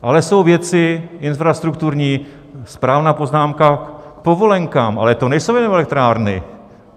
Ale jsou věci, infrastrukturní - správná poznámka k povolenkám, ale to nejsou jenom elektrárny.